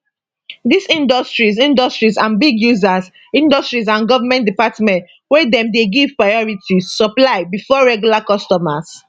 dis industries industries and big users industries and goment departments wey dem dey give priority supply bifor regular customers